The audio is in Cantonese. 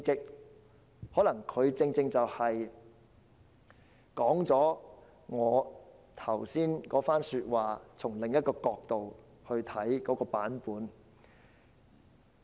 她可能正好說了我剛才那番說話，是從另一角度出發的版本。